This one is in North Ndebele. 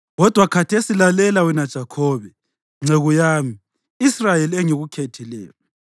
“Kodwa khathesi lalela, wena Jakhobe, nceku yami, Israyeli, engikukhethileyo.